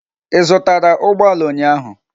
Ị zụtara ụgbọ ala ụnyahụ?